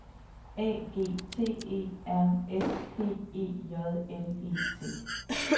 A G T E R S P E J L E T